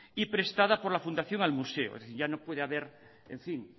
y prestada por la fundación al museo es decir ya no puede haber